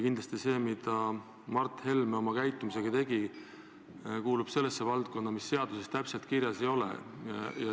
Kindlasti kuulub see, mida Mart Helme oma käitumisega põhjustas, sellesse valdkonda, mis seaduses täpselt kirjas ei ole.